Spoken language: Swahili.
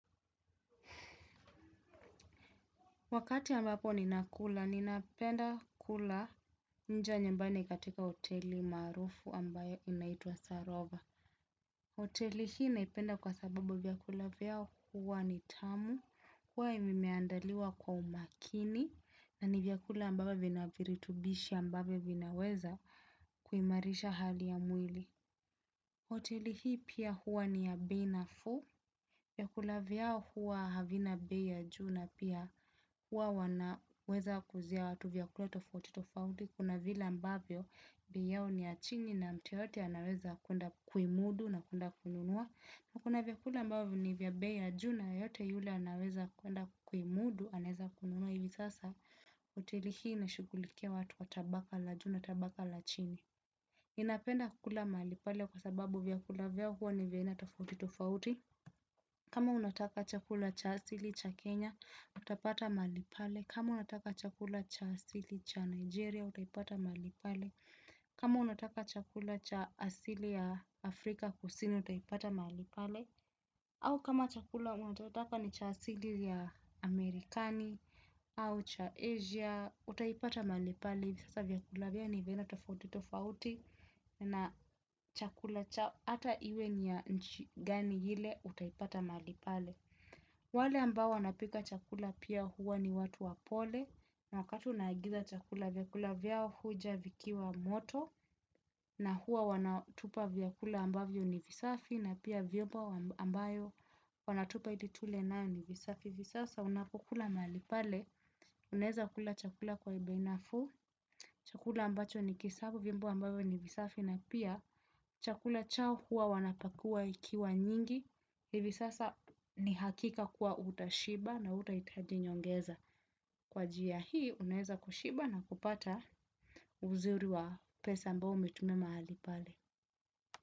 Wakati ambapo ninakula, ninapenda kula nje ya nyumbani katika hoteli maarufu ambayo inaitwa Sarova. Hoteli hii naipenda kwa sababu vyakula vyao huwa ni tamu, kuwa imeandaliwa kwa umakini na ni vyakula ambavyo vina viritubishi ambayo vinaweza kuimarisha hali ya mwili. Hoteli hii pia huwa ni ya bei nafuu. Vyakula vyao huwa havina bei ya juu na pia huwa wanaweza kuuzia watu vyakula tofautitofauti. Kuna vile ambavyo bei yao ni ya chini na mtu yoyote anaweza kuenda kuimudu na kuenda kununua. Na kuna vyakula ambavyo ni vya bei ya juu na yeyote yule anaweza kuenda kuimudu anaeza kununua. Ivi sasa hoteli hii inashughulikia watu wa tabaka la juu na tabaka la chini. Ninapenda kula mahali pale kwa sababu vyakula vyao huwa ni vya aina tofauti tofauti. Kama unataka chakula cha asili cha Kenya utapata mahali pale. Kama unataka chakula cha asili cha Nigeria utapata mahali pale. Kama unataka chakula cha asili ya Afrika kusini utaipata mahali pale. Au kama chakula unachotaka ni cha asili ya Amerikani au cha Asia utaipata mahali pale. Sasa vyakula vyao ni vya aina tofauti tofauti na chakula chao hata iwe ni ya nchi gani ile utaipata mahali pale. Wale ambao wanapika chakula pia huwa ni watu wapole na wakati unaagiza chakula vyakula vyao huja vikiwa moto na huwa wanatupa vyakula ambavyo ni visafi. Na pia vyombo ambayo wanatupa ili tule nayo ni visafi. Hivi sasa unapokula mahali pale, unaeza kula chakula kwa bei nafuu, chakula ambacho ni kisafi, vyombo ambayo ni visafi na pia, chakula chao huwa wanapakua ikiwa nyingi. Hivi sasa ni hakika kuwa utashiba na hutahitaji nyongeza. Kwa njia hii unaezakushiba na kupata uzuri wa pesa ambayo umetumia mahali pale.